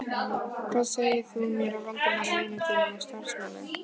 Hvað segir þú mér af Valdimari vini þínum og samstarfsmanni?